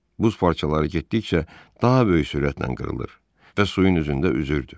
Buz parçaları getdikcə daha böyük sürətlə qırılır və suyun üzündə üzürdü.